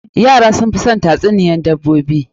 Yara sun fi son tatsuniyoyin dabbobi.